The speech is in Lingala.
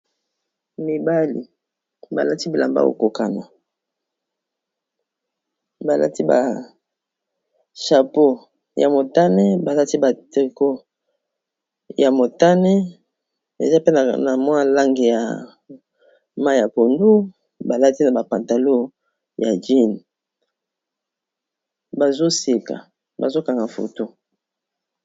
Mibali balati bilamba okokana balati ba chapeau ya motane balati ba treko ya motane eza penaka na mwa lange ya ma ya pondu balati na bapantalo ya jene bazoseka bazokanga foto